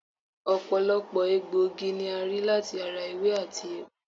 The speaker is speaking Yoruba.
Ọ̀pọ̀lọpọ̀ egbòogi ni a rí láti ara ewé àti egbò